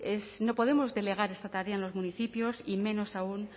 no podemos delegar esta tarea en los municipios y menos aún